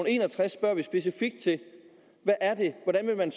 en og tres spørger jeg specifikt til hvordan man